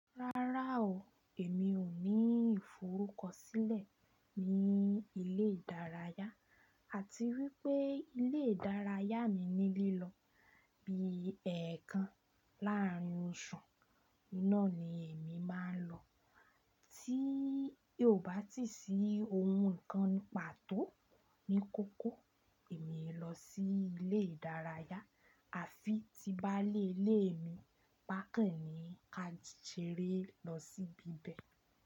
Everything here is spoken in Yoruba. Rárá o, èmi ò ní ìforúkọ sílẹ̀ ní ilé ìdárayá àti wípé ilé ìdárayá mi ní lílọ bí ẹ̀ẹ̀kan láàárín ọ̀ṣun, iná ni èmi máa lọ. Tí yò bá ti sí ohun kan pàtó ní kókó, èmi è lọ sí ilé ìdárayá àfi tí bá lé ilé mi, pàkẹ́ ní ka jèrè lọ síbi bẹ̀.